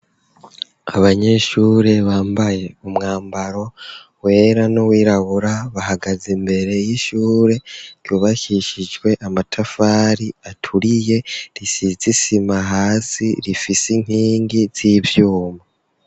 Abanyeshure bambaye umwambaro wera n'uwirabura bahagaze imbere y'ishure ryubakishijwe amatafari aturiye risize isima hasi rifise inkingi z'ivyuma.